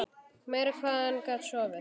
Meira hvað hann gat sofið!